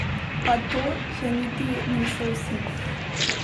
Pa to še niti niso vsi!